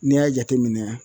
N'i y'a jateminɛ